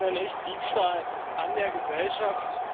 Das nenne ich Diebstahl an der Gesellschaft.